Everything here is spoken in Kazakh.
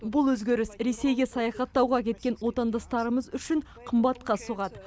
бұл өзгеріс ресейге саяхаттауға кеткен отандастарымыз үшін қымбатқа соғады